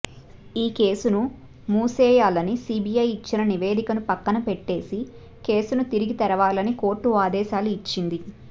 ఈ కేసును మూసేయాలని సిబిఐ ఇచ్చిన నివేదికను పక్కన పెట్టేసి కేసును తిరిగి తెరవాలని కోర్టు ఆదేశాలు ఇచ్చింది